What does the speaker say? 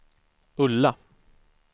Ulla